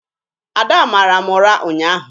Ada mara m ụra ụnyaahụ.